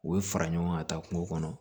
U bɛ fara ɲɔgɔn ka taa kungo kɔnɔ